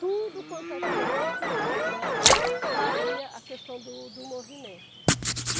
Tudo quanto é canto, né, saía a questão do do movimento.